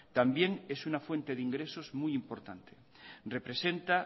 también es una fuente de ingresos muy importante representa